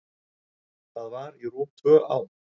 Það var í rúm tvö ár.